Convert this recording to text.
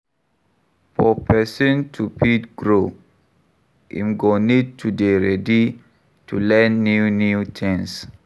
For person to fit grow, im go need to dey ready to learn new new things